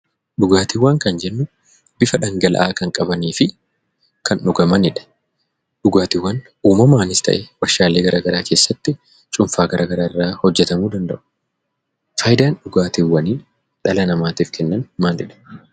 Dhugaatiiwwan kan jennu bifa dhangala'aa kan qabanii fi kan dhugamanidha. Dhugaatiiwwan uumamaanis ta'ee warshaalee garaa garaa keessatti cuunfaa garaa garaa irraa hojjetamuu danda'u. Faayidaan dhugaatiiwwanii dhala namaatiif kennan maalidha?